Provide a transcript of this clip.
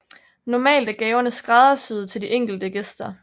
Normalt er gaverne skræddersyede til de enkelte gæster